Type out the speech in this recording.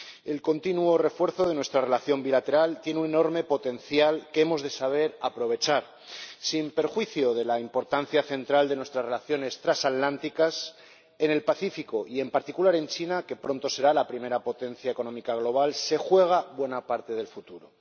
El continuo refuerzo de nuestra relación bilateral tiene un enorme potencial que hemos de saber aprovechar, sin perjuicio de la importancia central de nuestras relaciones transatlánticas en el Pacífico y en particular en China —que pronto será la primera potencia económica global— se juega buena parte del futuro.